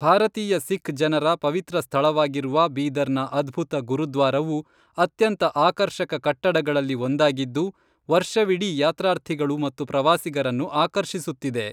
ಭಾರತೀಯ ಸಿಖ್ ಜನರ ಪವಿತ್ರ ಸ್ಥಳವಾಗಿರುವ ಬೀದರ್‌ನ ಅದ್ಭುತ ಗುರುದ್ವಾರವು ಅತ್ಯಂತ ಆಕರ್ಷಕ ಕಟ್ಟಡಗಳಲ್ಲಿ ಒಂದಾಗಿದ್ದು ವರ್ಷವಿಡೀ ಯಾತ್ರಾರ್ಥಿಗಳು ಮತ್ತು ಪ್ರವಾಸಿಗರನ್ನು ಆಕರ್ಷಿಸುತ್ತಿದೆ